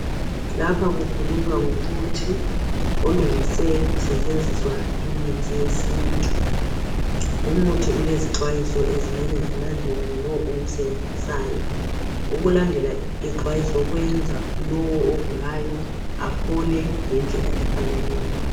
Lapha kukhulunywa ngomuthi olungiswe kusetshenziswa imithi yesintu. Lumuthi ulezixwayiso ezimele zilandelwe ngulo owusebenzisayo. Ukulandela imixwayiso kuyenza lowo ogulayo aphole ngendlela efaneleyo.